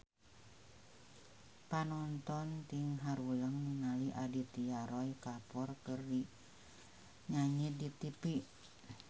Panonton ting haruleng ningali Aditya Roy Kapoor keur nyanyi di tipi